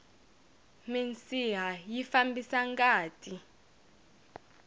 minsiha yi fambisa ngati